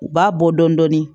U b'a bɔ dɔɔnin dɔɔnin